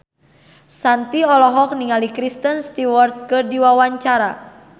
Shanti olohok ningali Kristen Stewart keur diwawancara